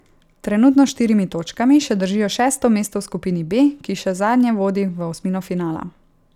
Trenutno s štirimi točkami še držijo šesto mesto v skupini B, ki še zadnje vodi v osmino finala.